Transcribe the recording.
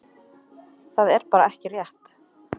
Það er bara ekki rétt.